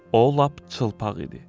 O lap çılpaq idi.